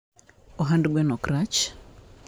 ohand gwen okrach